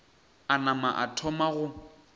a nama a thoma go